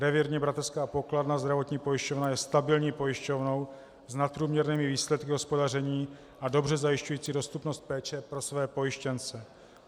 Revírní bratrská pokladna, zdravotní pojišťovna, je stabilní pojišťovnou s nadprůměrnými výsledky hospodaření a dobře zajišťující dostupnost péče pro své pojištěnce.